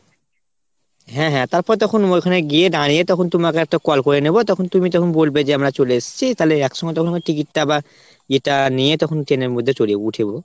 হ্যাঁ হ্যাঁ তারপর তখন ওইখানে গিয়ে দাঁড়িয়ে তখন তুমাকে একটা call করে নেবো তখন তুমি তখন বলবে যে আমরা চলে এসছি তালে একসঙ্গে তখন আমরা ticket টা বা ইটা নিয়ে তখন train এর মধ্যে চলে যাবো উঠে যাবো।